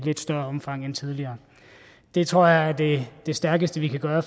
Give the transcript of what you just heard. lidt større omfang end tidligere det tror jeg er det stærkeste vi kan gøre